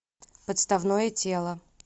подставное тело